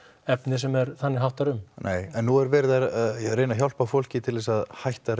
efni sem þannig háttar um nei en nú er verið að reyna að hjálpa fólki til þess að hætta